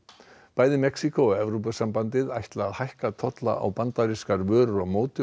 bæði Mexíkó og Evrópusambandið ætla að hækka tolla á bandarískar vörur á móti